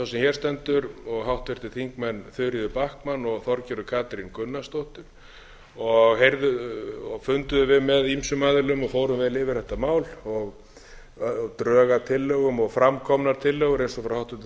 hér stendur og háttvirtir þingmenn þuríður backman og þorgerður katrín gunnarsdóttir funduðum við með ýmsum aðilum og fórum vel yfir þetta mál drög að tillögum og framkomnar tillögur eins og frá háttvirtum